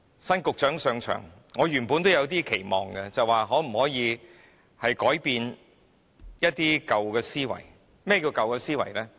新局長上任，我原本有點期望，便是一些舊思維能否改變。